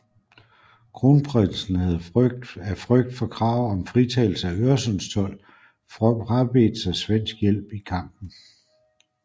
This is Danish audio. Kronprinsen havde af frygt for krav om fritagelse af øresundstold frabedt sig svensk hjælp i kampen